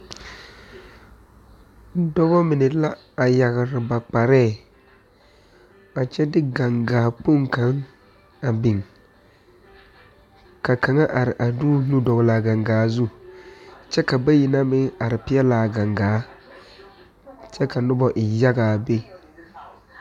Dɔbɔ mine la a yagre ba kparɛɛ a kyɛ de gaŋgaa kpoŋ kaŋ a biŋ ka kaŋa are a de o nu dɔglaa gaŋgaa zu kyɛ ka bayi na meŋ are peɛɛlaa gaŋgaa kyɛ ka nobɔ evyaga a be.